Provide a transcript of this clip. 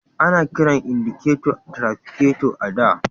Ana kiran indiketo trafiketo a da.